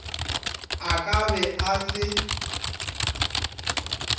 a ka be a se